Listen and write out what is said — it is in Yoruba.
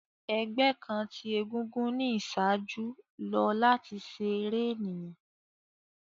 Ẹgbẹ kan ti egúngún ni iṣaaju lo lati ṣe ere eniyan.